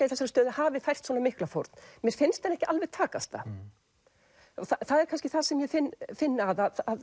í þessari stöðu hafi fært svona mikla fórn mér finnst henni ekki alveg takast það það er kannski það sem ég finn finn að